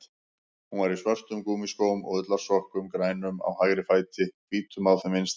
Hún var í svörtum gúmmískóm og ullarsokkum, grænum á hægri fæti, hvítum á þeim vinstri.